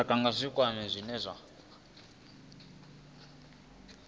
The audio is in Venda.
lushaka nga zwikimu zwine zwa